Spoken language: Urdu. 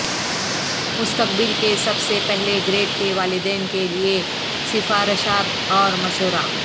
مستقبل کے سب سے پہلے گریڈ کے والدین کے لئے سفارشات اور مشورہ